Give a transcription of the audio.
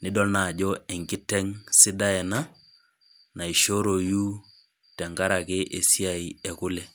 nidol naa enkiteng sidai ena naishoroyu tenkaraki esiai ekule .